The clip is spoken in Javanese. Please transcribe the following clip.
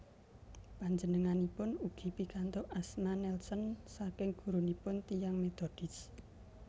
Panjenenganipun ugi pikantuk asma Nelson saking gurunipun tiyang Metodis